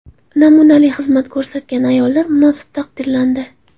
Namunali xizmat ko‘rsatgan ayollar munosib taqdirlandi.